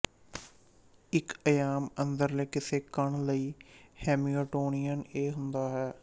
ਇੱਕ ਅਯਾਮ ਅੰਦਰਲੇ ਕਿਸੇ ਕਣ ਲਈ ਹੈਮਿਲਟੋਨੀਅਨ ਇਹ ਹੁੰਦਾ ਹੈ